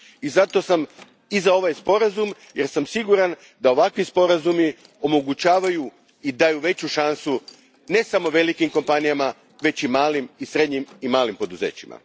Zato sam i za ovaj sporazum, jer sam siguran da ovakvi sporazumi omogućavaju i daju veću šansu, ne samo velikim kompanijama, već i malim i srednjim poduzećima.